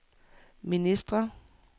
ministre